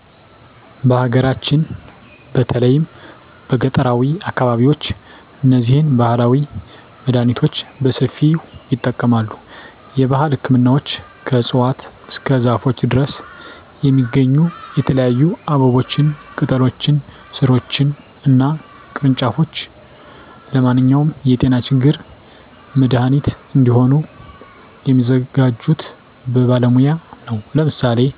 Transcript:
በሀገራችን በተለይም በገጠራዊ አካባቢዎች እነዚህን ባህላዊ መድሃኒቶች በሰፊው ይጠቀማሉ። የባህል ህክምናዎች ከእፅዋት እስከ ዛፎች ድረስ የሚገኙ የተለያዩ አበቦችን፣ ቅጠሎችን፣ ሥሮችን እና ቅርንጫፎች ለማንኛውም የጤና ችግር መድሃኒት እንዲሆኑ የሚያዘጋጁት በባለሙያ ነው። ለምሳሌ